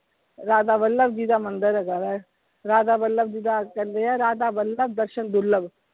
ਰਾਧਾ ਵੱਲਭ ਜੀ ਦਾ ਮੰਦਿਰ ਹੈਗਾ ਵਾ ਰਾਧਾ ਵੱਲਭ ਜੀ ਦਾ ਕਹਿੰਦੇ ਆ ਰਾਧਾ ਵੱਲਭ ਦਰਸ਼ਨ ਦੁਰਲੱਭ।